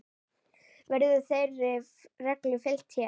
Verður þeirri reglu fylgt hér.